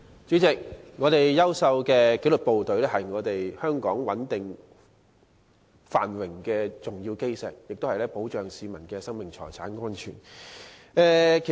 主席，香港有優秀的紀律部隊，是穩定繁榮的重要基石，他們保護市民的生命財產安全。